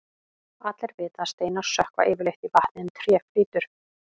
allir vita að steinar sökkva yfirleitt í vatni en tré flýtur